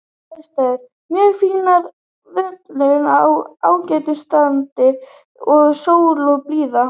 Aðstæður: Mjög fínar, völlurinn í ágætu standi og sól og blíða.